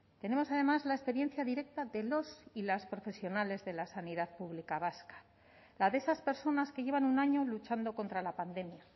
tenemos además la experiencia directa de los y las profesionales de la sanidad pública vasca la de esas personas que llevan un año luchando contra la pandemia